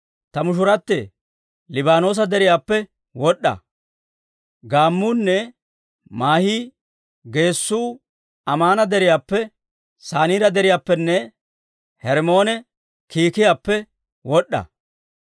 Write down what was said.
Ta mushurattee, Liibaanoosa Deriyaappe wod'd'a. Gaammuunne maahii geessuu Amaana Deriyaappe, Saniira Deriyaappenne Hermmoone kiikiyaappe wod'd'a.